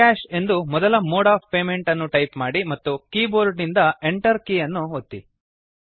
ಇನ್ cash ಎಂದು ಮೊದಲ mode of payment ಅನ್ನು ಟೈಪ್ ಮಾಡಿ ಮತ್ತು ಕೀ ಬೋರ್ಡ್ ನಿಂದ Enter ಕೀಲಿಯನ್ನು ಒತ್ತಿರಿ